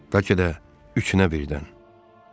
Bəlkə də üçü də birdən.